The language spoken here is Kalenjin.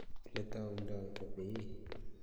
Oletaundai kopee